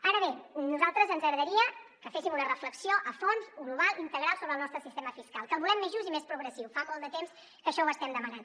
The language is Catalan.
ara bé a nosaltres ens agradaria que féssim una reflexió a fons global integral sobre el nostre sistema fiscal que el volem més just i més progressiu fa molt de temps que això ho estem demanant